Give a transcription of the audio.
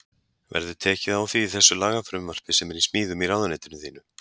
Verður tekið á því í þessu lagafrumvarpi sem er í smíðum í ráðuneytinu þínu?